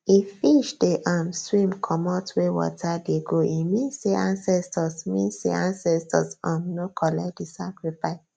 if fish dey um swim comot where water dey go e mean say ancestors mean say ancestors um no collect the sacrifice